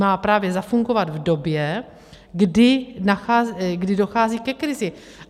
Má právě zafungovat v době, kdy dochází ke krizi.